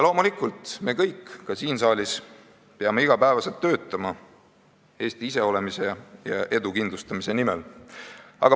Loomulikult, ka me kõik siin saalis peame iga päev töötama Eesti iseolemise ja edu kindlustamise nimel.